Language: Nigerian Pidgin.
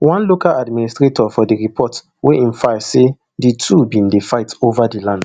one local administrator for di report wey im file say di two bin dey fight over di land